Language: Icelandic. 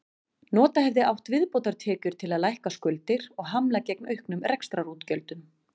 Nota hefði átt viðbótartekjur til að lækka skuldir og hamla gegn auknum rekstrarútgjöldum.